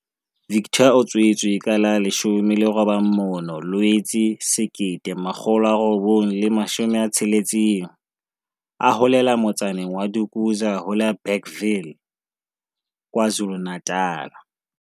Victor o tswetswe ka la 19 Loetse 1960, a holela motsaneng wa Dukuza ho la Bergville, KwaZulu-Natal.